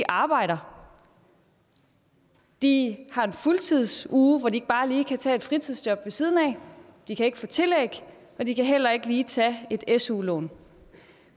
arbejder de har en fuldtidsuge hvor de ikke bare lige kan tage fritidsjob ved siden af de kan ikke få tillæg og de kan heller ikke lige tage et su lån